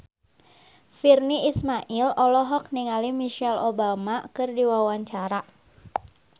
Virnie Ismail olohok ningali Michelle Obama keur diwawancara